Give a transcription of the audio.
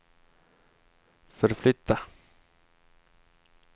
förflytta